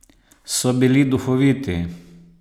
So bili duhoviti?